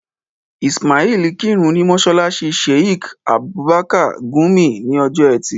Ismail kírun ní mọ́sálásí Sheik Abubakar Gumi ní ọjọ́ ẹtì